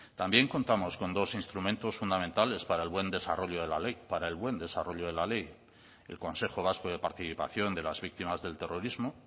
también contamos con dos instrumentos fundamentales para el buen desarrollo de la ley para el buen desarrollo de la ley el consejo vasco de participación de las víctimas del terrorismo